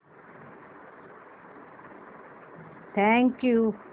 thank you